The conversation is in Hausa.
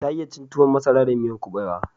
Ta iya cin tuwon masara da miyan kubewa